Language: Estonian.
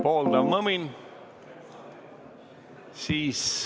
Pooldav mõmin.